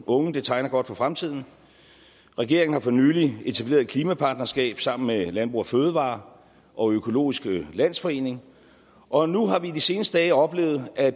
unge det tegner godt for fremtiden regeringen har for nylig etableret et klimapartnerskab sammen med landbrug fødevarer og økologisk landsforening og nu har vi i de seneste dage oplevet at